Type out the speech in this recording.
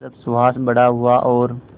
जब सुहास बड़ा हुआ और